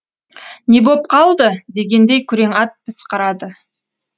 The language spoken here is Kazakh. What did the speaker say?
не боп қалды дегендей күрең ат пысқырады